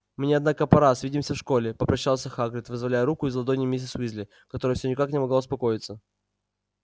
мне однако пора свидимся в школе попрощался хагрид вызволяя руку из ладоней миссис уизли которая всё никак не могла успокоиться